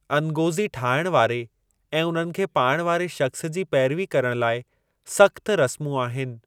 अनगोज़ी ठाहिण वारे ऐं उन्हनि खे पाइण वारे शख्सु जी पेरवी करण लाइ सख़्तु रसमूं आहिनि।